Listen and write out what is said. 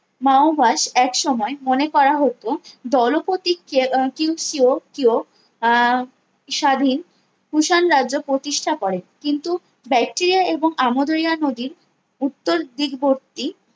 মাওআয়াশ এক সময়ে মনে করা হত দলপতি কে কিং কেও কেও আহ স্বাধীন কুষাণ রাজ্য প্রতিষ্ঠা করে কিন্তু বায়েটেরিয়া এবং আমোদইয়া নদীর উত্তর দিক বর্তী